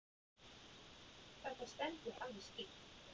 Þetta stendur alveg skýrt.